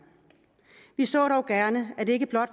vi så dog gerne at det ikke blot